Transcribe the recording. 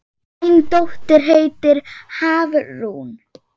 Þín dóttir, Hafrún.